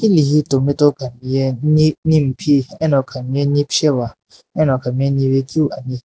izi tomato khami ye nimphi ano khamiye nipesheva ano khamiye nive keu ani.